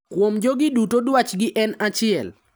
Kuom jogi duto dwachgi en achiel.